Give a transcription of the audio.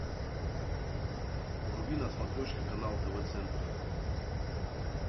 вруби на смотрешке канал тв центр